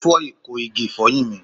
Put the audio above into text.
O fọ iko igi ifoyin mi